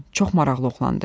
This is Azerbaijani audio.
Çox maraqlı oğlandı.